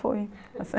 Fui assim.